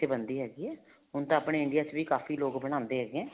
ਉੱਥੇ ਬਣਦੀ ਹੈਗੀ ਹੈ ਹੁਣ ਤਾਂ ਆਪਣੇ India ਵਿੱਚ ਵੀ ਕਾਫ਼ੀ ਬਣਾਦੇ ਹੈਗੇ ਹੈ